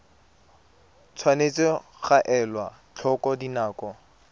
tshwanetse ga elwa tlhoko dinako